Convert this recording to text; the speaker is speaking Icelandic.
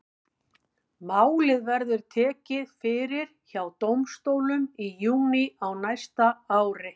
Málið verður tekið fyrir hjá dómstólum í júní á næsta ári.